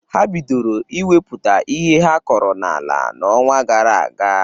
Ha bidoro inwepụta ihe ha kọrọ n'ala n'ọnwa gara aga.